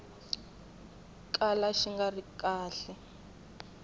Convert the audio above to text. kala xi nga ri kahle